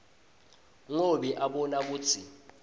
ngobe abona kutsi